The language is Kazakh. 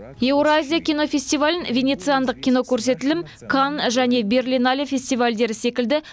еуразия кинофестивалін венециандық кинокөрсетілім канн және берлинале фестивальдері секілді